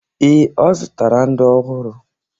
Ee, o zụtara ndị ọhụrụ.